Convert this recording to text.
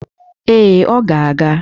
Ee, ọ ga-aga